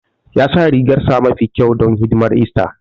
Ya sa rigarsa mafi kyau don hidimar ista